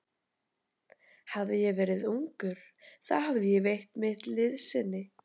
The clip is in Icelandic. Hefði ég verið ungur, þá hefði ég veitt mitt liðsinni.